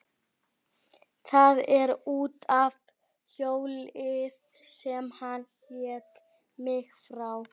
Það er út af hjóli sem hann lét mig fá.